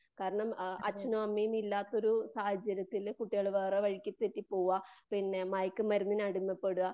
കാരണം അച്ഛനും അമ്മയും ഇല്ലാത്തൊരു സാഹചര്യത്തിൽ കുട്ടികള് വേറെ വഴിക്ക് തെറ്റിപോകുവ. മയക്കുമരുന്നിന് അടിമ പെടുവാ.